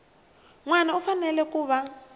wana u fanele ku va